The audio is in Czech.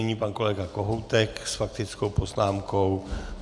Nyní pan kolega Kohoutek s faktickou poznámkou.